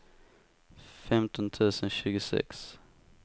femton tusen tjugosex